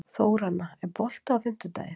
Þóranna, er bolti á fimmtudaginn?